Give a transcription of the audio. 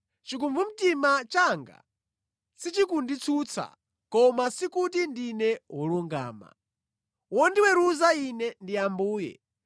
Chikumbumtima changa sichikunditsutsa, koma sikuti ndine wolungama. Wondiweruza ine ndi Ambuye.